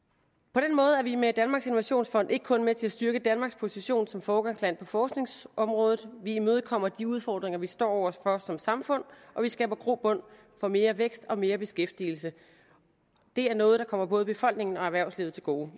på den måde er vi med danmarks innovationsfond ikke kun med til at styrke danmarks position som foregangsland på forskningsområdet vi imødekommer også de udfordringer vi står over for som samfund og vi skaber grobund for mere vækst og mere beskæftigelse det er noget der kommer både befolkningen og erhvervslivet til gode